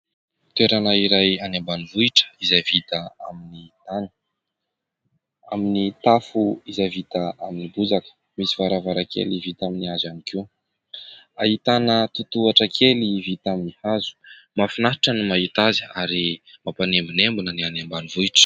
Toerana iray any ambanivohitra izay vita amin'ny tany. Amin'ny tafo izay vita amin'ny bozaka, misy varavarankely vita amin'ny hazo ihany koa. Ahitana totohatra kely vita amin'ny hazo. Mahafinaritra ny mahita azy ary mampanembonembona ny any ambanivohitra.